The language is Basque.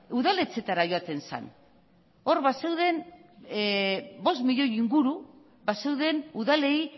udaletxeetara joaten zen hor bazeuden bost milioi inguru bazeuden udalei